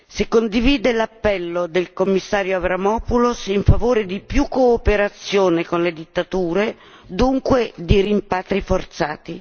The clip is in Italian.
se condivide l'appello del commissario Avramopoulos in favore di più cooperazione con le dittature, dunque di rimpatri forzati